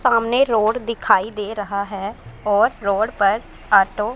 सामने रोड दिखाई दे रहा हैं और रोड पर आटो --